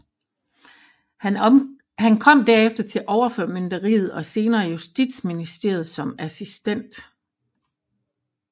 Han kom derefter til Overformynderiet og senere Justitsministeriet som assistent